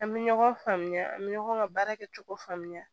An bɛ ɲɔgɔn faamuya an bɛ ɲɔgɔn ka baara kɛ cogo faamuya